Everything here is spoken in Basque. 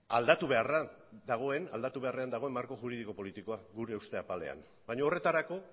aldatu beharra dago marko juridiko politikoa gure uste apalean baina horretarako